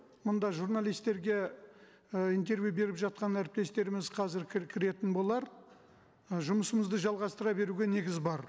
мында журналистерге ы интервью беріп жатқан әріптестеріміз қазір кіретін болар і жұмысымызды жалғастыра беруге негіз бар